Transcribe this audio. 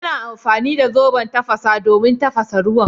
Yana amfani da zoben tafasa don tafasa ruwan.